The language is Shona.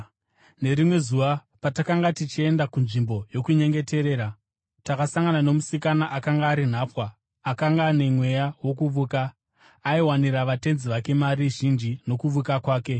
Nerimwe zuva patakanga tichienda kunzvimbo yokunyengeterera, takasangana nomusikana akanga ari nhapwa akanga ane mweya wokuvuka. Aiwanira vatenzi vake mari zhinji nokuvuka kwake.